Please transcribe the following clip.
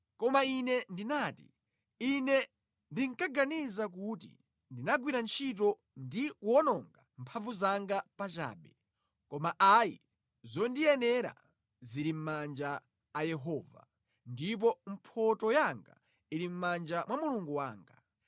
Koma Ine ndinati, “Ine ndinkaganiza kuti ndinagwira ntchito ndi kuwononga mphamvu zanga pachabe, koma ayi, zondiyenera zili mʼmanja a Yehova, ndipo mphotho yanga ili mʼmanja mwa Mulungu wanga.”